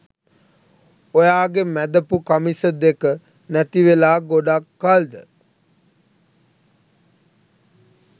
ඔයාගෙ මැදපු කමිස දෙක නැතිවෙලා ගොඩක් කල්ද?